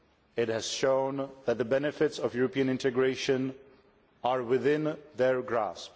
It has shown that the benefits of European integration are within their grasp.